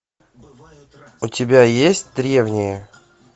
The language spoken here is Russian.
у тебя есть древнее